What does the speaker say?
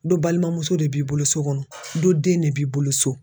Dɔ balimamuso de b'i bolo so kɔnɔ dɔ den de b'i bolo so